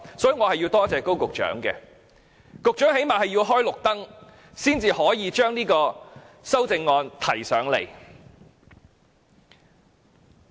因此，我要感謝高局長，最低限度他要"開綠燈"，修正案才能提交立法會。